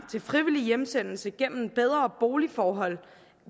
frivillig hjemsendelse gennem bedre boligforhold